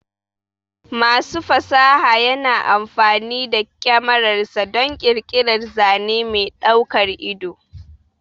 Masu fasaha yana amfani da kyamararsa don ƙirƙirar zane mai daukar ido.